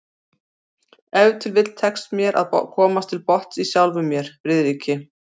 Ef til vill tekst mér að komast til botns í sjálfum mér, Friðriki